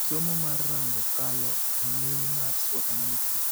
Somo mar rango kalo rang'iny mar SWOT analysis.